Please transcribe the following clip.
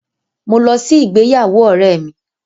Mo lọ sí ìgbéyàwó ọ̀rẹ́ mi.